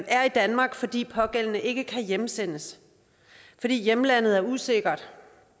er i danmark fordi den pågældende ikke kan hjemsendes fordi hjemlandet er usikkert